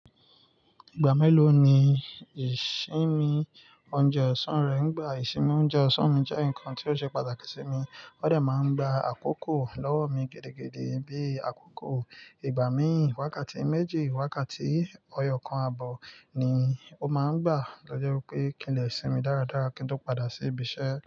Ìgbà mélòó ni ìsinmi oúnjẹ ọ̀sán rẹ ń gbà? Ìsinmi oúnjẹ ọ̀sán mi jẹ́ nǹkan tó ṣe pàtàkì sí mi, ó de máa ń gba àkókò lọ́wọ́ mi gidi-gidi bíi àkókò ìgbà mí wákàtí méjì, wákàtí ọ̀yọ́ kan àbọ̀ ni ó máa ń gbà to je wipé kí n lè sinmi dáradára kí n tó padà sí ibi iṣẹ́.